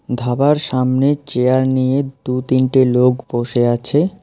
ধাবার সামনে চেয়ার নিয়ে দু তিনটে লোক বসে আছে।